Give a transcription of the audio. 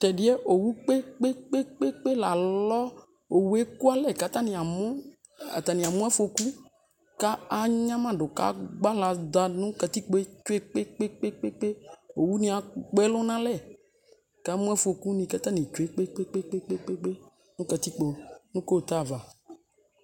tɛdie owu kpekpekpe lalɔ owu eku alɛ ko atane amo afɔku ko anyamado ko agbale do no katikpoe kpekpekpe owu ne agbɔ ɛlo no alɛ kamo afɔku katani tsue kpekpekpe no katikpo no kota ava